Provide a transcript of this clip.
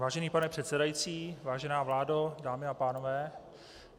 Vážený pane předsedající, vážená vládo, dámy a pánové.